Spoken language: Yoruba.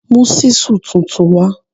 Mú ṣísù tuntun wá